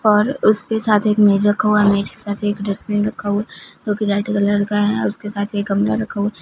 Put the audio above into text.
और उसके साथ एक मेज रखा हुआ है मेज के साथ एक डस्टबिन रखा हुआ जो की रेड कलर का है उसके साथ एक गमला रखा हुआ।